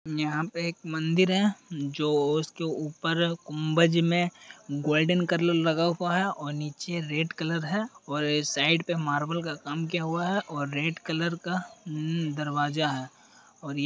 यहाँ पे एक मंदिर है जो उसके ऊपर गुंबज मे गोल्डन कर्लर लगा हुआ है और नीचे रेड कलर है और ए साइड पे मार्बल का काम किआ हुआ है और रेड कलर का अमम दरवाजा है। और ये --